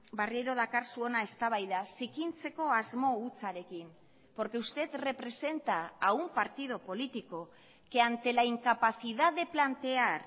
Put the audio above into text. berriro dakarzu hona eztabaida zikintzeko asmo hutsarekin porque usted representa a un partido político que ante la incapacidad de plantear